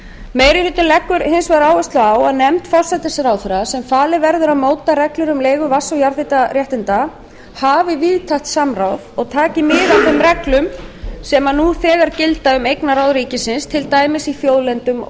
meiri hlutinn leggur hins vegar áherslu á að nefnd forsætisráðherra sem falið verður að móta reglur um leigu vatns og jarðhitaréttinda hafi víðtækt samráð og taki mið af þeim reglum sem nú þegar gilda um eignarráð ríkisins til dæmis í þjóðlendum